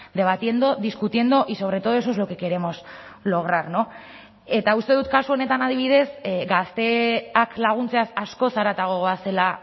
debatiendo discutiendo y sobre todo eso es lo que queremos lograr eta uste dut kasu honetan adibidez gazteak laguntzaz askoz haratago goazela